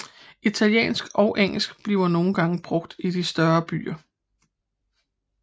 Italiensk og engelsk bliver nogle gange brugt i de større byer